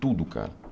Tudo, cara.